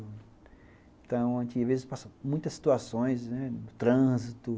Então, a gente, às vezes, passa muitas situações, né, no trânsito.